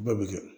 Bɛɛ bɛ kɛ